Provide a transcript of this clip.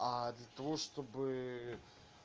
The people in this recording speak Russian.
а для того чтобы